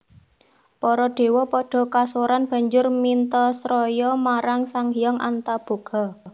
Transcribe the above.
Para dewa padha kasoran banjur mintasraya marang Sang Hyang Antaboga